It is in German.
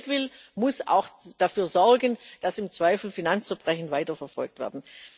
Wer von uns Geld will, muss auch dafür sorgen, dass im Zweifel Finanzverbrechen weiterverfolgt werden.